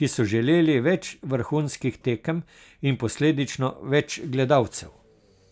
ki so želeli več vrhunskih tekem in posledično več gledalcev.